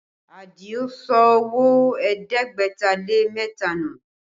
Adio sọ owó ẹ̀ẹ́dẹ́gbẹ̀ta lé mẹ́ta nù